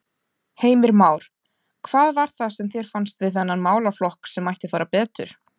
Heimir Már: Hvað var það sem þér fannst við þennan málaflokk að mætti fara betur?